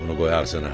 Bunu qoy ağzına.